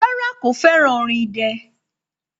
Rárá, kò fẹ́ràn orin idẹ.